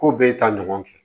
Ko bɛɛ ta ɲɔgɔn fɛ